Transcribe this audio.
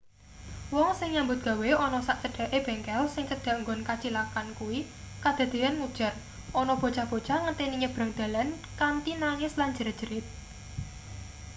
wong sing nyambut gawe ana sak cedhake bengkel sing cedhak nggon kacilakan kuwi kadadeyan ngujar ana bocah-bocah ngenteni nyebrang dalan kanthi nangis lan jerat-jerit